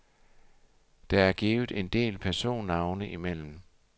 Der er givet en del personnavne imellem.